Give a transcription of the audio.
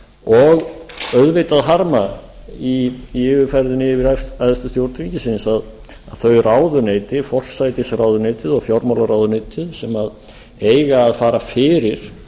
og auðvitað harma í yfirferðinni yfir æðstu stjórn þingsins að þau ráðuneyti forsætisráðuneytið og fjármálaráðuneytið sem eiga að fara fyrir